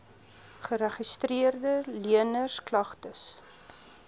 geregistreede leners klagtes